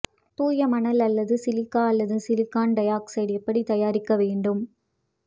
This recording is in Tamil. தூய மணல் அல்லது சிலிக்கா அல்லது சிலிக்கான் டை ஆக்சைடு எப்படி தயாரிக்க வேண்டும்